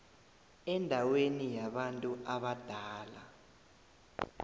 endaweni yabantu abadala